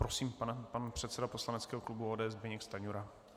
Prosím, pan předseda poslaneckého klubu ODS Zbyněk Stanjura.